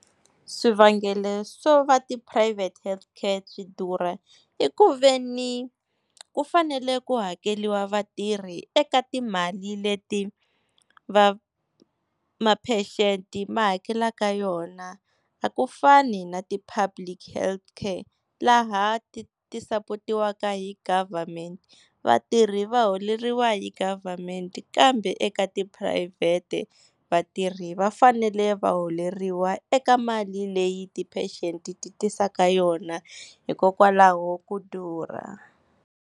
Swivangelo swo va tiphurayivhete health care ti durha, i ku veni ku fanele ku hakeriwa vatirhi eka timali leti va, ma-patient ma hakelaka yona a ku fani na ti-public health care laha ti ti sapotiwaka hi government. Vatirhi va holeriwa hi government kambe eka tiphurayivhete vatirhi va fanele va holeriwa eka mali leyi ti-patient ti tisaka yona hikokwalaho ku durha.